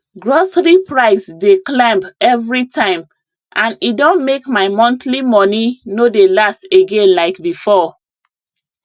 grocery price dey climb every time and e don make my monthly money no dey last again like before